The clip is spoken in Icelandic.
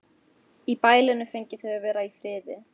Í bælinu fengju þau að vera í friði.